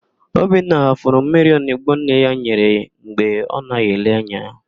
Obinna ghafuru mmiri onigbo nne ya nyere ya mgbe ọ naghị ele anya.